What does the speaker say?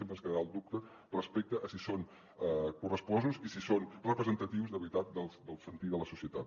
sempre ens quedarà el dubte respecte a si són correspostos i si són representatius de veritat del sentir de la societat